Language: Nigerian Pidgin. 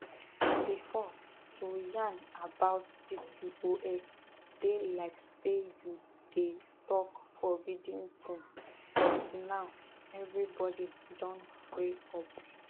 before to yarn about pcos dey like say you dey talk forbidden thing but now everybody don free up